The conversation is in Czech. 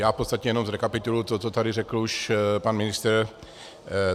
Já v podstatě jenom zrekapituluji to, co tady řekl už pan ministr.